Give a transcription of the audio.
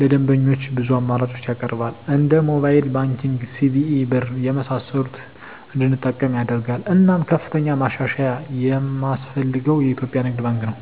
ለደንበኞች ብዙ አማራጮችን ያቀርባል እንደ ሞባይል ባንኪንግ, ሲቢኢ ብር , የመሳሰሉትን እንድንጠቀም ያደርጋል። እናም ከፍተኛ ማሻሻያ የማስፈልገው የኢትዮጵያ ንግድ ባንክ ነው።